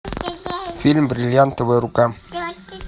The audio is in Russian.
фильм бриллиантовая рука